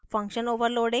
function overloading